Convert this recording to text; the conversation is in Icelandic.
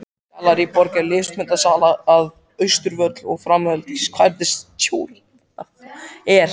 Gallerí Borg er listmunasala við Austurvöll og framkvæmdastjóri er